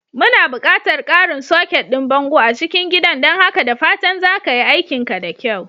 Muna buƙatar ƙarin soket ɗin bango a cikin gidan don haka da fatan za ka yi aikinka da kyau.